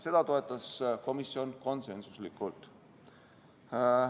Seda toetas komisjon konsensuslikult.